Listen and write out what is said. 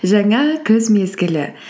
жаңа күз мезгілі